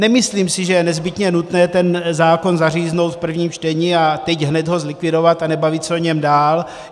Nemyslím si, že je nezbytně nutné ten zákon zaříznout v prvním čtení a teď hned ho zlikvidovat a nebavit se o něm dál.